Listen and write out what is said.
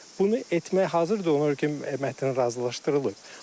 Bunu etməyə hazırdır onlar ki, mətn razılaşdırılıb.